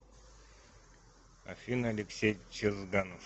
афина алексей чезганов